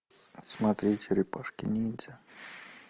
смотреть черепашки ниндзя